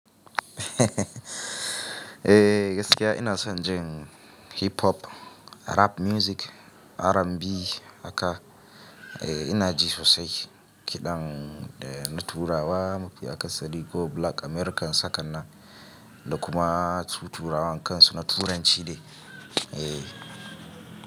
Eh gaskiya ina son jin hip-hop, rap music, R&B haka eh ina ji sosai. Kiɗan da turawa mafi aka sari ko black Americans haka nan da kuma su turawan kan su na turanci dai. Eh.